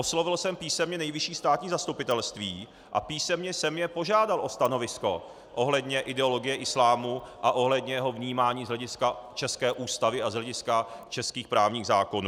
Oslovil jsem písemně Nejvyšší státní zastupitelství a písemně jsem je požádat o stanovisko ohledně ideologie islámu a ohledně jeho vnímání z hlediska české Ústavy a z hlediska českých právních zákonů.